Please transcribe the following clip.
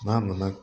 N'a nana